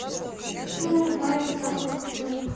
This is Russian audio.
чужая свадьба покажи